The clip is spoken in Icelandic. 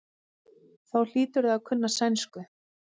Þá hlýturðu að kunna sænsku.